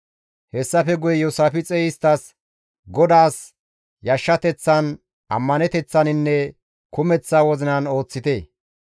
Hessafe guye Iyoosaafixey isttas, «GODAAS yashshateththan, ammaneteththaninne kumeththa wozinan ooththite.